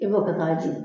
I b'o kɛ k'a jigin